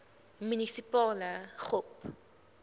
munisipale gop